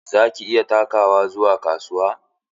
Za ka iya takawa zuwa kasuwa?